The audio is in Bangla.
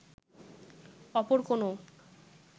অপর কোন